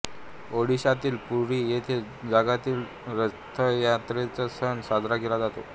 ओडिशातील पुरी येथे जगातील रथयात्रेचा सण साजरा केला जातो